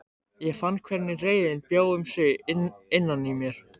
Ég fann hvernig reiðin bjó um sig innan í mér.